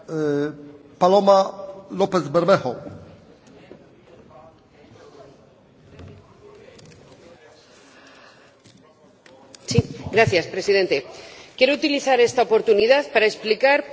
Señor Presidente, quiero utilizar esta oportunidad para explicar por qué me he abstenido en este informe.